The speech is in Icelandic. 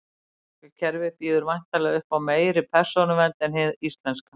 Bandaríska kerfið býður væntanlega upp á meiri persónuvernd en hið íslenska.